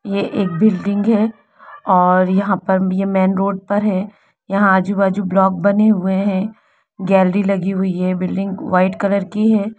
ये एक बिल्डिंग हैं और यहाँ पर ये मैन रोड पर है यहाँ आजुबाजु ब्लॉक बने हुए है ग्यालरी लगी हुई है बिल्डिंग वाइट कलर की है।